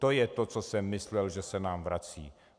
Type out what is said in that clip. To je to, co jsem myslel, že se nám vrací.